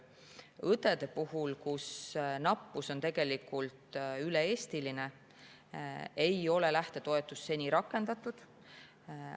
Õdede puhul, kelle nappus on üle-eestiline, ei ole lähtetoetust seni rakendatud.